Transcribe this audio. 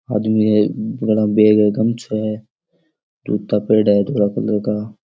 आदमी है बड़ा बेग है गमछा है जूता पेरेड़ा है धोला कलर का।